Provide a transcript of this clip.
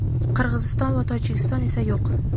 Qirg‘iziston va Tojikiston esa yo‘q.